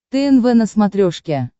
тнв на смотрешке